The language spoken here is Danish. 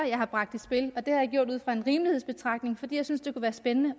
jeg har bragt i spil og det har jeg gjort ud fra en rimelighedsbetragtning fordi jeg synes det kunne være spændende